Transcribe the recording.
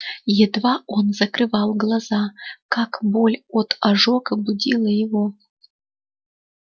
едва он закрывал глаза как боль от ожога будила его